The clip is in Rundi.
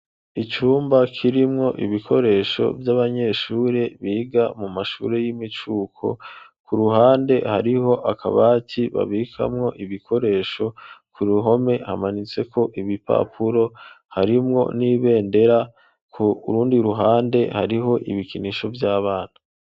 Icumba, kirimwo ibikoresho, vy'abanyeshure, biga mu mashure y'imicuko; ku ruhande, hariho akabati, babikamwo ibikoresho; ku ruhome, hamanitseko ibipapuro, harimwo n'ibendera; ku rundi ruhande, hariho ibikinisho vy'abana.